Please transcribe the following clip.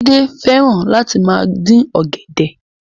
Jídé fẹ́ràn Láti máa dín ọ̀gẹ̀dẹ̀